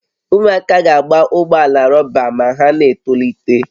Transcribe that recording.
Ụmụaka ga-agba ụgbọ ala rọba ma ha na-etolite